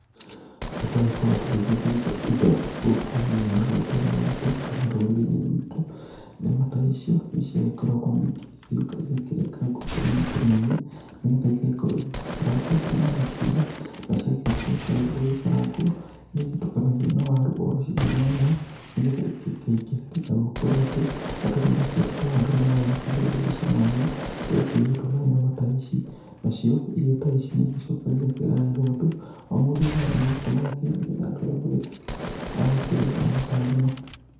Rĩrĩa twagĩkorwo tũgĩgĩthĩnja indo gũkũ hihi mĩgũnda-inĩ itu kana rũrĩri-inĩ rwitũ, nyama ta icio nĩ ciagĩkoragwo ningĩ igĩgĩũka igakĩrengangwo tũnini tũnini, nĩgetha igagĩkorwo igĩgĩkarangwo na thaburia, na ciakĩrĩkia gũgĩkarangwo nĩ igĩtukanagio na waru o cigana ũna, nĩgetha ikĩingaingĩhe na gũkorwo atĩ, andũ nĩ makĩendete waru mũno na wakĩigua igĩgĩcama wega, rĩrĩa ikĩrugĩtwo na nyama ta ici. Nacio irio ta ici nĩ igĩcokaga igakĩgaĩrwo andũ, o mũndũ thani yake yake nĩgetha andũ othe magĩtuĩke a gũkĩrĩa nyama ta ĩno.